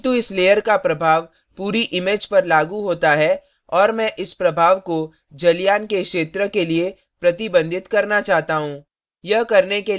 किन्तु इस layer का प्रभाव पूरी image पर लागू होता है और मैं इस प्रभाव को जलयान के क्षेत्र के लिए प्रतिबंधित करना चाहता हूँ